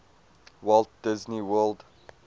walt disney world